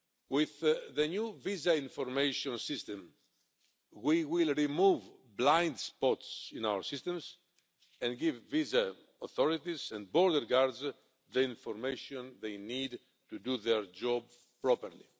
With the new Visa Information System, we will remove blind spots in our systems and give visa authorities and border guards the information they need to do their jobs properly.